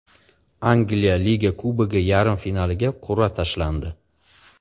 Angliya Liga Kubogi yarim finaliga qur’a tashlandi.